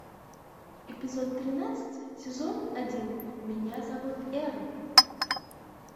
эпизод тринадцать сезон один меня зовут эрл